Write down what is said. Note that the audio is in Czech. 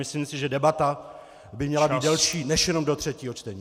Myslím si, že debata by měla být delší než jenom do třetího čtení.